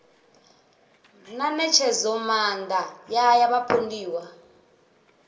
na ṋetshedzomaanda ya ya vhapondiwa